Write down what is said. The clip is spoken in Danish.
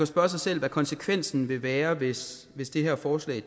spørge sig selv hvad konsekvensen ville være hvis hvis det her forslag